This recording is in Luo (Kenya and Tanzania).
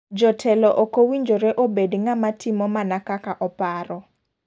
Jotelo okowinjire obed ng'ama timo mana kaka oparo.